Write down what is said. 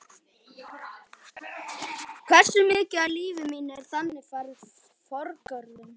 Hversu mikið af lífi mínu er þannig farið forgörðum?